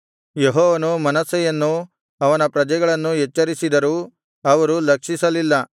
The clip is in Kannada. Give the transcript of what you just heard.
ಯೆಹೋವನು ಮನಸ್ಸೆಯನ್ನೂ ಅವನ ಪ್ರಜೆಗಳನ್ನೂ ಎಚ್ಚರಿಸಿದರೂ ಅವರು ಲಕ್ಷಿಸಲಿಲ್ಲ